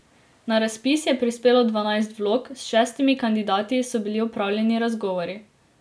Na razpis je prispelo dvanajst vlog, s šestimi kandidati so bili opravljeni razgovori.